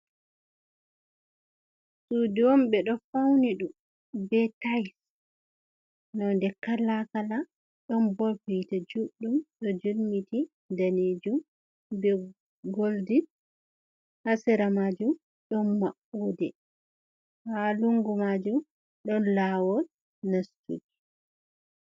Sudu on be ɗo fauni ɗum be tais, non de kalakala ɗon bob hita juɗɗum ɗo jilmiti danijum be goldi, hasera majum ɗon mamɓude, ha lungu majum ɗon lawol nastuki.